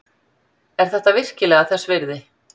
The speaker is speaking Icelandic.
Er þetta virkilega þess virði?